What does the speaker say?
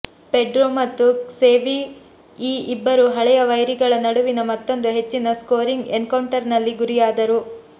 Pedro ಮತ್ತು Xavi ಈ ಇಬ್ಬರು ಹಳೆಯ ವೈರಿಗಳ ನಡುವಿನ ಮತ್ತೊಂದು ಹೆಚ್ಚಿನ ಸ್ಕೋರಿಂಗ್ ಎನ್ಕೌಂಟರ್ನಲ್ಲಿ ಗುರಿಯಾದರು